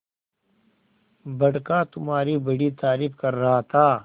बड़का तुम्हारी बड़ी तारीफ कर रहा था